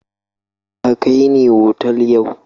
Ka kai ni otal yau!